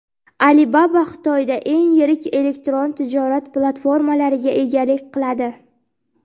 Alibaba Xitoyda eng yirik elektron tijorat platformalariga egalik qiladi.